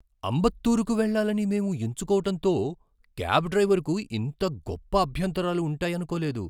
అంబత్తూరుకు వెళ్లాలని మేము ఎంచుకోవటంతో క్యాబ్ డ్రైవరుకు ఇంత గొప్ప అభ్యంతరాలు ఉంటాయనుకోలేదు.